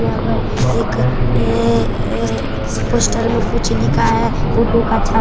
यहाँ पर एक ऐ ऐ पोस्टर में कुछ लिखा है ऑटो का छा --